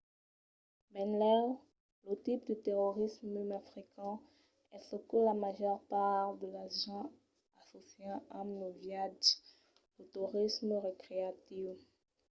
benlèu lo tipe de torisme mai frequent es çò que la màger part de las gents assòcian amb los viatges: lo torisme recreatiu